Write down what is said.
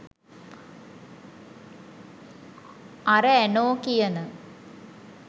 අර ඇනෝ කියන